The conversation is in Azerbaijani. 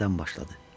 Nədən başladı?